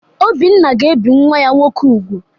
Obinna ga-ebi nwa ya nwoke úgwù.